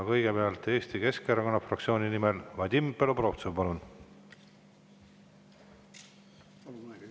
Kõigepealt Eesti Keskerakonna fraktsiooni nimel Vadim Belobrovtsev, palun!